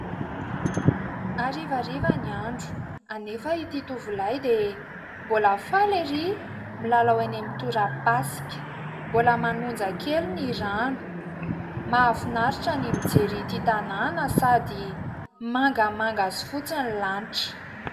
Harivariva ny andro anefa ity tovolahy dia mbola faly erỳ milalao eny amin'ny torapasika. Mbola manonja kely ny rano. Mahafinaritra ny mijery ity tanàna sady mangamanga sy fotsy ny lanitra.